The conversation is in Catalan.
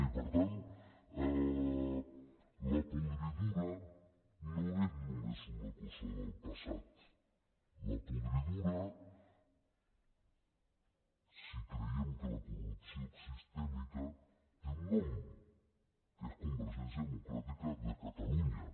i per tant la podridura no és només una cosa del passat la podridura si creiem que la corrupció és sistèmica té un nom que és convergència democràtica de catalunya